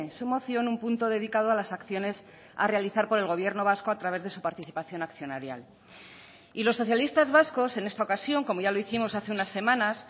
su moción un punto dedicado a las acciones a realizar por el gobierno vasco a través de su participación accionarial y los socialistas vascos en esta ocasión como ya lo hicimos hace unas semanas